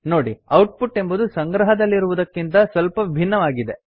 ನೋಡಿ ಔಟ್ಪುಟ್ ಎಂಬುದು ಸಂಗ್ರಹದಲ್ಲಿರುವುದಕ್ಕಿಂತ ಸ್ವಲ್ಪ ಭಿನ್ನವಾಗಿ ಇದೆ